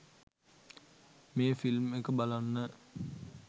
මේ ෆිල්ම් එක බලන්න